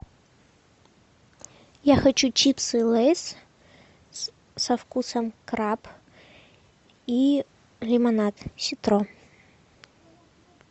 я хочу чипсы лейс со вкусом краб и лимонад ситро